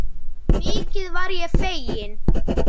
Mikið varð ég feginn.